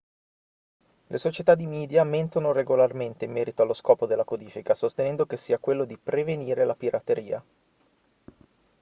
le società di media mentono regolarmente in merito allo scopo della codifica sostenendo che sia quello di prevenire la pirateria